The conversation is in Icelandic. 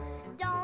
um gjafir